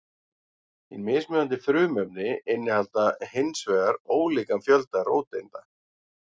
Hin mismunandi frumefni innihalda hins vegar ólíkan fjölda róteinda.